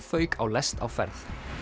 fauk á lest á ferð